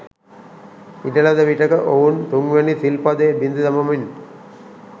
ඉඩ ලද විටෙක ඔවුන් තුන්වැනි සිල් පදය බිඳ දමමින්